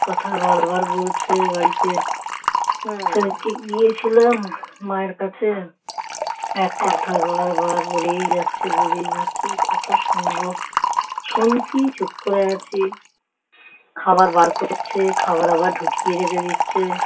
খাবার বার করছে খাবার আবার ঢুকিয়ে রেখে দিচ্ছে ।